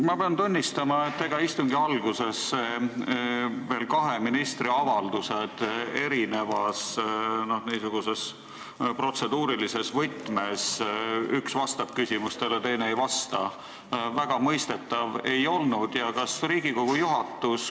Ma pean tunnistama, et kui istungi alguses on lausa kahe ministri avaldused erinevas protseduurilises võtmes, üks vastab küsimustele, teine ei vasta, siis ega see väga mõistetav ei ole.